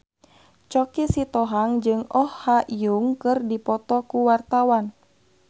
Choky Sitohang jeung Oh Ha Young keur dipoto ku wartawan